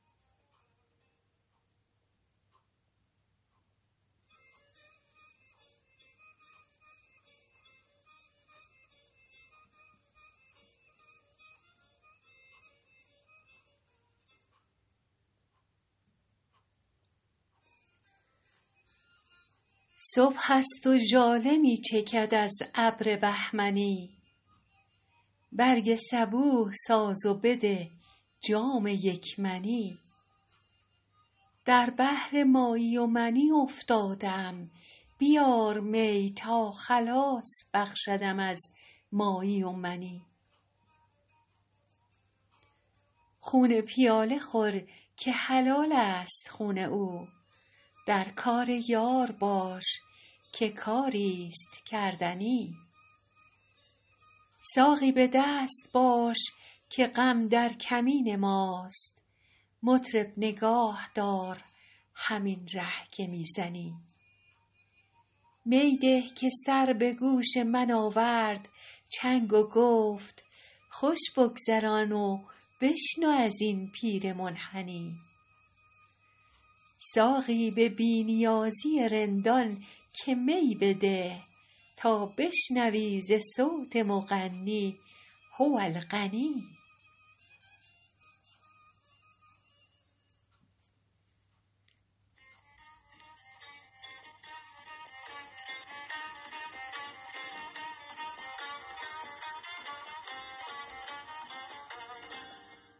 صبح است و ژاله می چکد از ابر بهمنی برگ صبوح ساز و بده جام یک منی در بحر مایی و منی افتاده ام بیار می تا خلاص بخشدم از مایی و منی خون پیاله خور که حلال است خون او در کار یار باش که کاری ست کردنی ساقی به دست باش که غم در کمین ماست مطرب نگاه دار همین ره که می زنی می ده که سر به گوش من آورد چنگ و گفت خوش بگذران و بشنو از این پیر منحنی ساقی به بی نیازی رندان که می بده تا بشنوی ز صوت مغنی هو الغنی